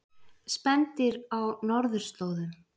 Spendýr á norðurslóðum.